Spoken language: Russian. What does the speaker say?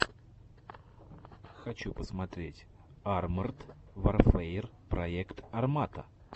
хочу посмотреть арморд варфэер проект армата